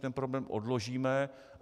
Ten problém odložíme.